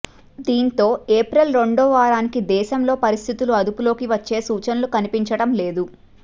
దీంతో ఏప్రిల్ రెండో వారానికి దేశంలో పరిస్థితులు అదుపులోకి వచ్చే సూచనలు కనిపించడం లేదు